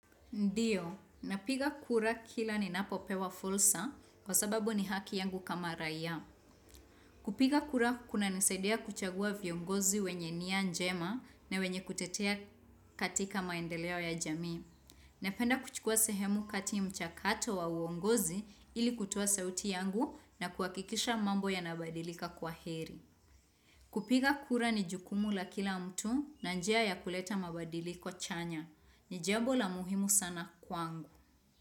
Ndio, napiga kura kila ninapopewa fursa kwa sababu ni haki yangu kama raia. Kupiga kura kunanisaidia kuchagua viongozi wenye nia njema na wenye kutetea katika maendeleo ya jamii. Napenda kuchukua sehemu kati mchakato wa uongozi ili kutoa sauti yangu na kuhakikisha mambo yanabadilika kwa heri. Kupiga kura ni jukumu la kila mtu na njia ya kuleta mabadiliko chanya. Ni jambo la muhimu sana kwangu.